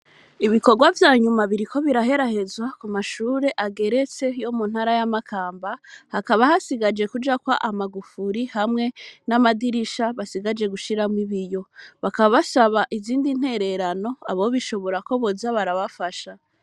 Ibikorwa vyanyuma biriko biraherahezwa ku mashure ageretse yo mu ntara y'amakamba hakaba hasigaje kuja kwa amagufuri hamwe n'amadirisha basigaje gushiramwo iboiyo bakabashaba izindi ntererano abo bishobora ko boza barabafasha.